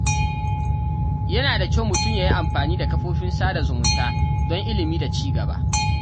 Yana da kyau mutum ya yi amfani da kafofin sada zumunta don ilimi da ci gaba.